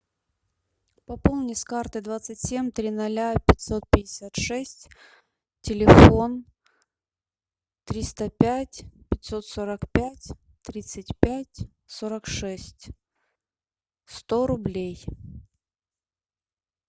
пополни с карты двадцать семь три ноля пятьсот пятьдесят шесть телефон триста пять пятьсот сорок пять тридцать пять сорок шесть сто рублей